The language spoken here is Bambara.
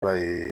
Ba ye